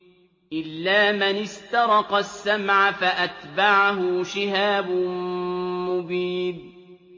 إِلَّا مَنِ اسْتَرَقَ السَّمْعَ فَأَتْبَعَهُ شِهَابٌ مُّبِينٌ